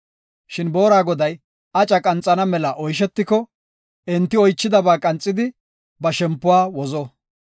Shin boora goday aca qanxana mela oyshetiko, enti oychidaba qanxidi ba shempuwa wozo.